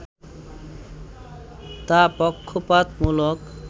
তা পক্ষপাতমূলক